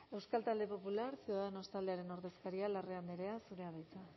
euskal talde popular ciudadanos taldearen ordezkaria larrea andrea zurea da hitza